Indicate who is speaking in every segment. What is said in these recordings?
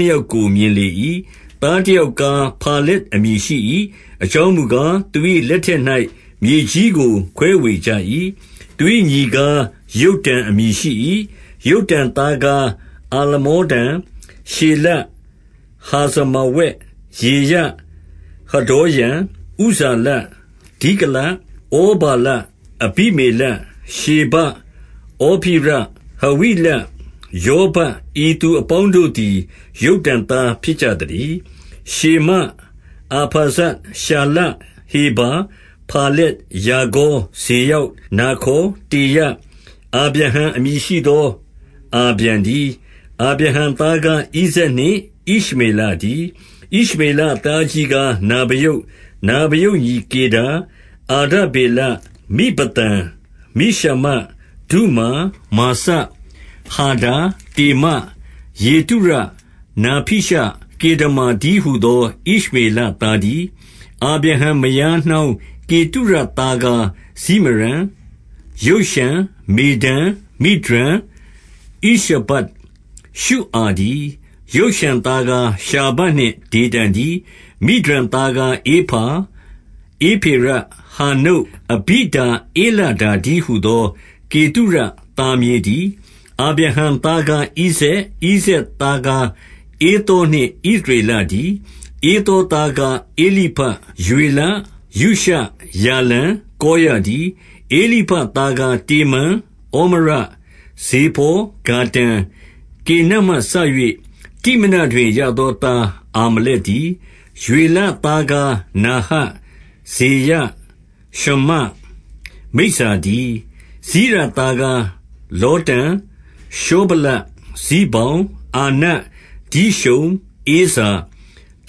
Speaker 1: နှစ်ယောက်ကို မြင် လေ၏။ သားတယောက်ကား ဖာလက်အမည်ရှိ၏။ အကြောင်းမူကား၊ သူ၏လက်ထက်၌ မြေကြီးကို ခွဲဝေကြ ၏။ သူ၏ညီကား ယုတ္တန်အမည်ရှိ၏။ 20 ယုတ္တန်သားကား အာလမောဒန်၊ ရှေလပ်၊ ဟာဇာမာဝက်၊ ယေရ၊ 21 ဟဒေါရံ၊ ဥဇာလ၊ ဒိကလ၊ 22 ဩဗာလ၊ အဘိမေလ၊ ရှေဘ၊ 23 ဩဖိရ၊ ဟဝိလ၊ ယောဗပ်၊ ဤသူအပေါင်းတို့ သည် ယုတ္တန်သား ဖြစ်ကြသတည်း။ 24 ရှေမ၊ အာဖာဇဒ်၊ ရှာလ၊ 25 ဟေဗာ၊ ဖာလက်၊ ရာဂေါ၊ 26 စေရောက်၊ နာခေါ်၊ တေရ၊ 27 အာဗြဟံအမည်ရှိသော အာဗြံတည်း။ 28 အာဗြ ဟံသားကား ဣဇာက်နှင့် ဣရှမေလတည်း။ 29 ဣရှမေလသားအကြီးကားနဗာယုတ်၊ နဗာ ယုတ်ညီကေဒါ၊ အာဒဗေလ၊ မိဗသံ၊ 30 မိရှမ၊ ဒုမာ၊ မာစ၊ ဟာဒါ၊ တေမ၊ 31 ယေတုရ၊ နာဖီရှ၊ ကေဒမာတည်း ဟူသော ဣရှမေလသားတည်း။ 32 အာဗြဟံမယား နှောင်းကေတုရသားကားဇိမရံ၊ ယုတ်ရှန်၊ မေဒန်၊ မိဒျန်၊ ဣရှဘတ်၊ ရှုအာတည်း။ ယုတ်ရှန် သားကား ရှာဘနှင့် ဒေဒန်တည်း။ 33 မိဒျန်သားကား ဧဖာ၊ ဧဖေရ၊ ဟာနုတ်၊ အဘိ ဒါဧလဓာတည်းဟူသော ကေတုရ သားမြေးတည်း။ 34 အာဗြဟံသား ကားဣဇာက်၊ ဣဇာက်သားကား ဧသောနှင့် ဣသရေလတည်း။ 35 ဧသောသားကား ဧလိဖတ်၊ ရွေလ၊ ယုရှ၊ ယာလံ၊ ကောရတည်း။ 36 ဧလိဖတ်သားကား တေမန်၊ ဩမရ၊ ဇေပေါ်၊ ဂါတံ၊ ကေနတ်မှစ၍ တိမနတွင် ရသောသား အာမ လက်တည်း။ 37 ရွေလသားကား နာဟတ် ဇေရ၊ ရှမ္မ၊ မိဇ္ဇတည်း။ 38 စိရသားကားလောတန်၊ ရှောဗလ၊ ဇိဘောင်၊ အာန၊ ဒိရှုန်၊ ဧဇာ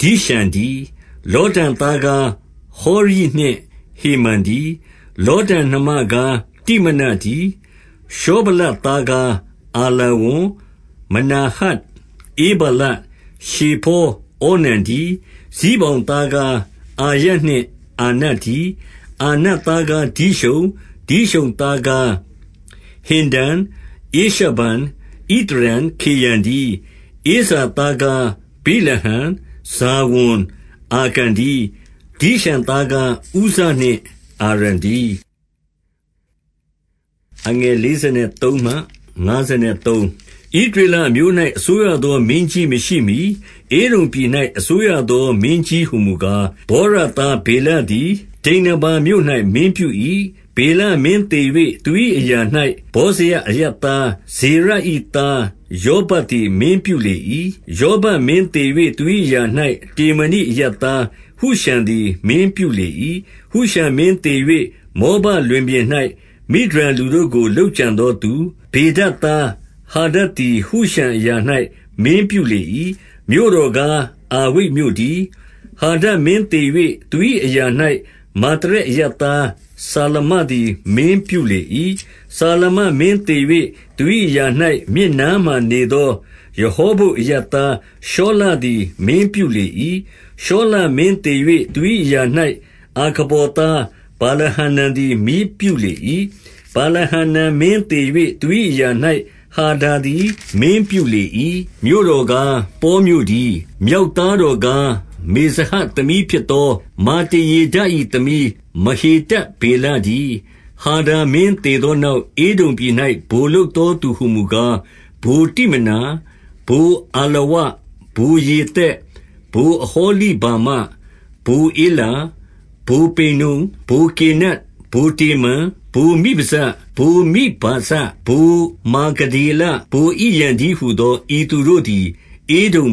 Speaker 1: ၊ ဒိရှန်တည်း။ 39 လောတန်သားကား ဟောရိနှင့်ဟေမံတည်း။ လောတန်နှမကား တိမနတည်း။ 40 ရှောဗလသားကားအာလာဝန်၊ မနာဟတ်၊ ဧဗာလ၊ ရှေဖော၊ ဩနံတည်း။ ဇိဘောင်သားကား အာယနှင့် အာနတည်း။ 41 အာနသားကား ဒိရှုန်၊ ဒိရှုန်သားကားဟင်္ဒန်၊ ဧရှဗန်၊ ဣသရန်၊ ခေရန်တည်း။ 42 ဧဇာဘသားကား ဗိလဟန်၊ ဇာဝန်၊ အာကန် တည်း။ ဒိရှန်သားကား ဥဇနှင့် အာရန်တည်း။ 43 ဣသရေလအမျိုး၌ အစိုးရသောမင်းကြီး မရှိမှီ ဧဒုံပြည်၌ အစိုးရသော မင်းကြီးဟူမူကား၊ ဗောရသား ဗေလသည် ဒိန္နာဗာမြို့၌မင်းပြု၏။ 44 ဗေလမင်းသေ၍ သူ၏အရာ၌ ဗောဇရ အရပ် သား ဇေရ၏ သားယောဗပ်သည် မင်းပြုလေ၏။ 45 ယောဗပ်မင်းသေ၍ သူ၏အရာ၌ တေမာနိ အရပ်သား ဟုရှံသည် မင်းပြုလေ၏။ 46 ဟုရှံမင်းသေ၍ မောဘလွင်ပြင်၌ မိဒျန်လူတို့ကို လုပ်ကြံသောသူ၊ ဗေဒဒ်သားဟာဒဒ်သည် ဟုရှံအရာ၌ မင်းပြုလေ၏။ မြို့တော်ကား အာဝိတ်မြို့တည်း။ 47 ဟာဒဒ်မင်းသေ၍ သူ၏အရာ၌မာသရက် အရပ်သား စာမလသည် မင်းပြုလေ၏။ 48 စာမလမင်းသေ၍ သူ၏အရာ၌ မြစ်နားမှာ နေသောရဟော ဘုတ်အရပ်သား ရှောလသည် မင်းပြု လေ၏။ 49 ရှောလမင်းသေ၍ သူ၏အရာ၌ အာခဗော်သား ဗာလဟာနန်သည် မင်းပြုလေ၏။ 50 ဗာလဟာနန်မင်းသေ၍ သူ၏အရာ၌ ဟာဒါ သည် မင်းပြုလေ၏။ မြို့တော်ကားပေါမြို့တည်း။ မြောက် သားတော်ကား မေဇဟပ်သမီးဖြစ်သော မာတရေဒ၏ သမီး မဟေတဗေလတည်း။ 51 ဟာဒါမင်းသေသောနောက် ဧဒုံပြည်၌ ဗိုလ်လုပ်သောသူဟူမူကား၊ ဗိုလ်တိမနာ၊ ဗိုလ်အာလဝ၊ ဗိုလ် ယေသက်၊ 52 ဗိုလ်အဟောလိ ဗာမ၊ ဗိုလ်ဧလာ၊ ဗိုလ် ပိနုန်၊ 53 ဗိုလ်ကေနတ်၊ ဗိုလ်တေမန်၊ ဗိုလ်မိဗဇ၊ 54 ဗိုလ် မာဂဒေလ၊ ဗိုလ်ဣရံတည်းဟူသော ဤသူတို့သည် ဧဒုံ